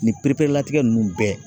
Nin pereperelatigɛ ninnu bɛɛ